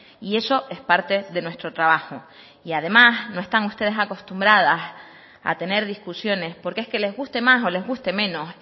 y eso es parte de nuestro trabajo y además no están ustedes acostumbradas a tener discusiones porque es que les guste más o les guste menos